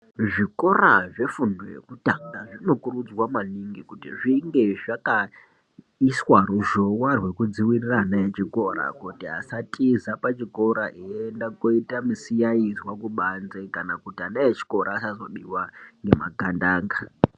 Zvikora zvefundo yekutanga zvinokurudzirwa maningi kuti zvinge zvakaiswa ruzhowa rwekudxivirira ana echikora kuti asatiza pachikora eienda kunoita misiyaizwa kubanze. Kana kuti ana echikora asazobiwa ngemagandanga.